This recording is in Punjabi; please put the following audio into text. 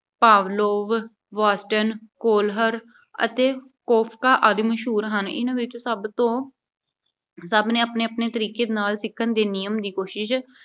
Pavlov, Watson, Kolher ਅਤੇ Koffka ਆਦਿ ਮਸ਼ਹੂਰ ਹਨ। ਇਨ੍ਹਾਂ ਵਿੱਚ ਸਭ ਤੋਂ ਸਭ ਨੇ ਆਪਣੇ-ਆਪਣੇ ਤਰੀਕੇ ਨਾਲ ਸਿੱਖਣ ਦੇ ਨਿਯਮ ਦੀ ਕੋਸ਼ਿਸ਼